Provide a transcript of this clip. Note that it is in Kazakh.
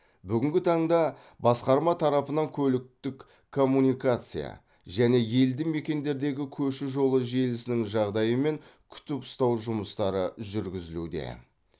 бүгінгі таңда басқарма тарапынан көліктік коммуникация және елді мекендердегі көше жолы желісінің жағдайы мен күтіп ұстау жұмыстары жүргізілуде